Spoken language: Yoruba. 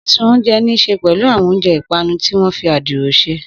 Sísun oúnjẹ ní í ṣe pẹ̀lú àwọn oúnjẹ ìpanu tí wọ́n fi adiro ṣe.